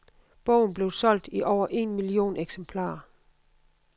Bogen blev solgt i over en million eksemplarer.